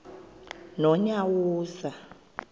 nonyawoza